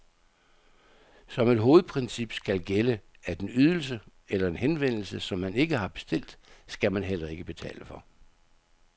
Som et hovedprincip skal gælde, at en ydelse eller en henvendelse, som man ikke har bestilt, skal man heller ikke betale for.